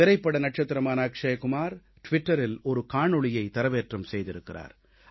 திரைப்பட நட்சத்திரமான அக்ஷய் குமார் ட்விட்டரில் ஒரு காணொளியைத் தரவேற்றம் செய்திருக்கிறார்